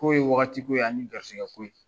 kow ye wagati ko ye ani garisɛgɛ ko ye